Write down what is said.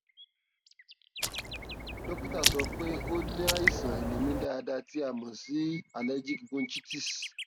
dókítà sọ pé ó ní àìsàn àìlèmí dáadáa tí a mọ sí a mọ sí allergic bronchitis